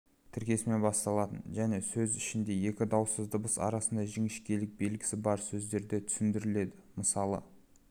тіркесімен басталатын және сөз ішінде екі дауыссыз дыбыс арасында жіңішкелік белгісі бар сөздерде түсіріледі мысалы